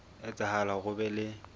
etsahala hore ho be le